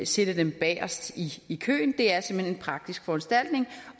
sætte dem bagest i køen det er simpelt hen en praktisk foranstaltning